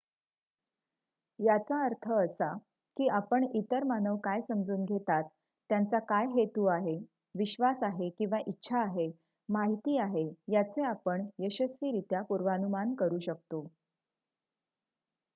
याचा अर्थ असा की आपण इतर मानव काय समजून घेतात त्यांचा काय हेतु आहे विश्वास आहे किंवा इच्छा आहे माहिती आहे याचे आपण यशस्वीरित्या पूर्वानुमान करू शकतो